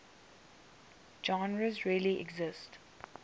genres really exist